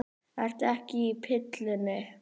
Ertu ekki á pillunni?